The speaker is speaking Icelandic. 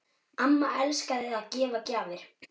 Amma elskaði að gefa gjafir.